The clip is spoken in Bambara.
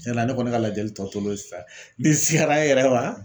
Tiɲɛ la ne kɔni ka lajɛli tɔ tol'o sisan. Ni n sigara n yɛrɛ ma